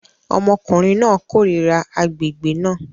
Ọmọkùnrin náà kórìíra agbègbè náà